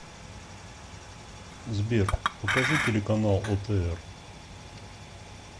сбер покажи телеканал отр